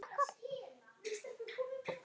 Ég fann fyrir þessu öllu.